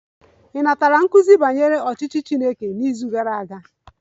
Ị natara nkuzi banyere ọchịchị Chineke n'izu gara aga?